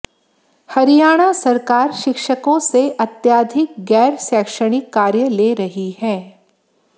हरियाणा सरकार शिक्षकों से अत्याधिक गैर शैक्षणिक कार्य ले रही है